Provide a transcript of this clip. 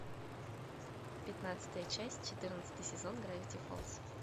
пятнадцатая часть четырнадцатый сезон гравити фолз